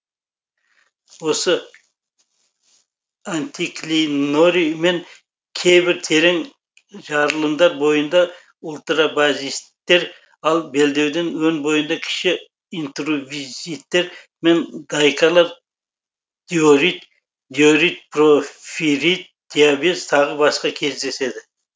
осы антиклинорий мен кейбір терең жарылымдар бойында ультрабазиттер ал белдеудің өн бойында кіші интрузивтер мен дайкалар диорит диорит порфирит диабаз тағы басқа кездеседі